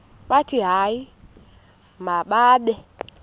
bathi hayi mababe